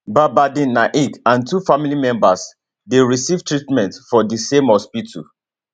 badardin naik and two family members dey receive treatment for di same hospital